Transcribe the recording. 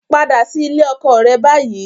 Padà sí ilé ọkọ rẹ báyìí